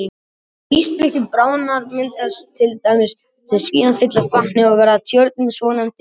Þegar ísflikkin bráðna myndast dældir sem síðan fyllast vatni og verða að tjörnum, svonefndum jökulkerum.